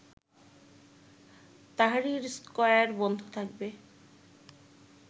Tahrir square বন্ধ থাকবে